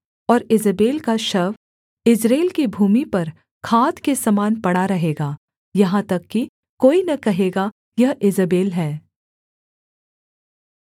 और ईजेबेल का शव यिज्रेल की भूमि पर खाद के समान पड़ा रहेगा यहाँ तक कि कोई न कहेगा यह ईजेबेल है